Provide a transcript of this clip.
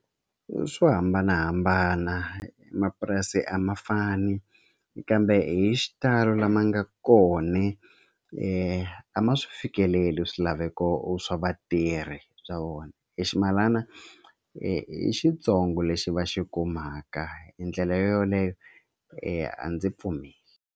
Swo hambanahambana mapurasi a ma fani kambe hi xitalo lama nga kona a ma swi fikeleli swilaveko swa vatirhi bya vona i ximalana i xitsongo lexi va xi kumaka hi ndlela yoleyo a ndzi pfumeli.